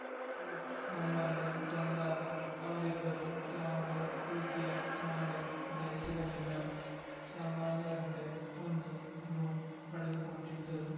coat ನಮ್ಮಲ್ಲಿ ಬಂದಾಗ ಅವರಿಬ್ಬರು ಯಾವುದೇ ರೀತಿಯ ಮಾಲೆ ಧರಿಸಿರಲಿಲ್ಲ ಸಾಮಾನ್ಯರಂತೆ ಬಂದು ರೂಮ್‌ ಪಡೆದುಕೊಂಡಿದ್ದರು